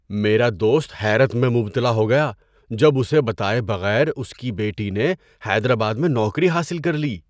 میرا دوست حیرت میں مبتلاء ہو گیا جب اسے بتائے بغیر اس کی بیٹی نے حیدرآباد میں نوکری حاصل کر لی۔